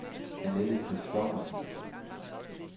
Anette Christophersen